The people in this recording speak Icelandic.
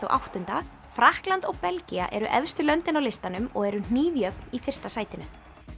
og áttunda Frakkland og Belgía eru efstu löndin á listanum og eru hnífjöfn í fyrsta sætinu